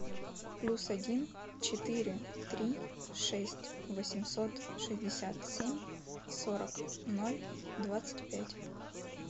плюс один четыре три шесть восемьсот шестьдесят семь сорок ноль двадцать пять